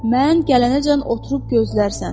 Mən gələnəcən oturub gözlərsən.